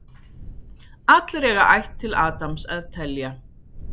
Allir eiga ætt til Adams að telja.